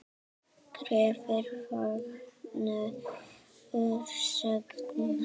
Krefur vetur sagna.